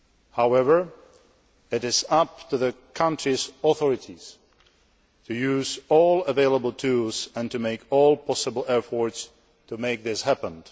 However, it is up to the country's authorities to use all available tools and to make all possible efforts to make this happen.